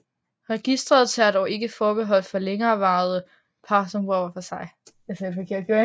Registret tager dog ikke forbehold for længerevarende par som bor hver for sig